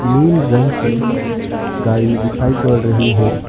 नील रंग की गाड़ी दिखाई पड़ रही है।